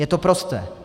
Je to prosté.